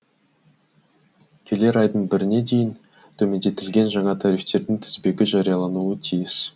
келер айдың біріне дейін төмендетілген жаңа тарифтердің тізбегі жариялануы тиіс